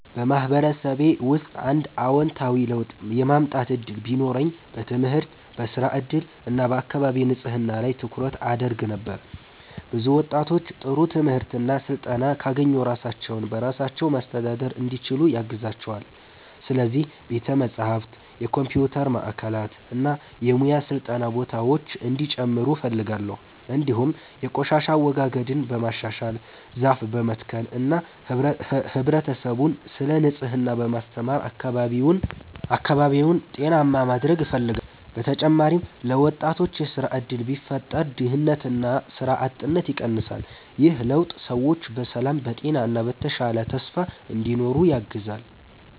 በማህበረሰቤ ውስጥ አንድ አዎንታዊ ለውጥ የማምጣት እድል ቢኖረኝ በትምህርት፣ በሥራ እድል እና በአካባቢ ንጽህና ላይ ትኩረት አደርግ ነበር። ብዙ ወጣቶች ጥሩ ትምህርት እና ስልጠና ካገኙ ራሳቸውን በራሳቸው ማስተዳደር እንዲችሉ ያግዛቸዋል። ስለዚህ ቤተ መጻሕፍት፣ የኮምፒውተር ማዕከላት እና የሙያ ስልጠና ቦታዎች እንዲጨምሩ እፈልጋለሁ። እንዲሁም የቆሻሻ አወጋገድን በማሻሻል፣ ዛፍ በመትከል እና ህብረተሰቡን ስለ ንጽህና በማስተማር አካባቢውን ጤናማ ማድረግ እፈልጋለሁ። በተጨማሪም ለወጣቶች የሥራ እድል ቢፈጠር ድህነትና ሥራ አጥነት ይቀንሳል። ይህ ለውጥ ሰዎች በሰላም፣ በጤና እና በተሻለ ተስፋ እንዲኖሩ ያግዛል።